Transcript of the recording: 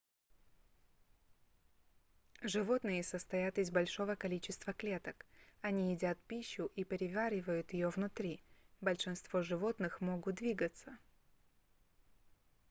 животные состоят из большого количества клеток они едят пищу и переваривают её внутри большинство животных могут двигаться